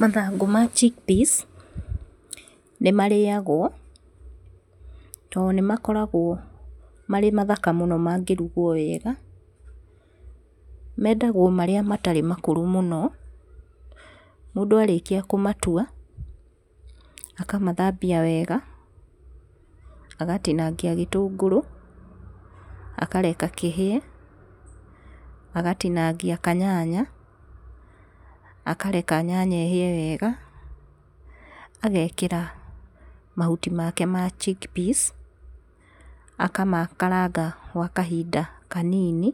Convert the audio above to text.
Mathangu ma chick peas nĩ marĩagwo tondũ nĩ makoragwo marĩ mathaka mũno mangĩrugwo wega mendagwo marĩa ,matarĩ makũrũ mũno. Mũndũ arĩkia kũmatua akamathambia wega agatingangia gĩtũngũrũ akareka kĩhĩe, agatinangia kanyanya akareka kahĩe wega agekĩra mahuti make ma chick peas akamakaranga gwa kahinda kanini.